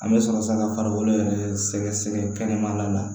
An bɛ sɔrɔ ka farikolo yɛrɛ sɛgɛsɛgɛ kɛnɛmana la